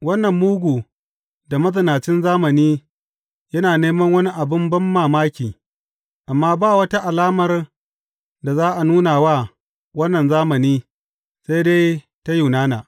Wannan mugu da mazinacin zamani yana neman wani abin banmamaki, amma ba wata alamar da za a nuna wa wannan zamani sai dai ta Yunana.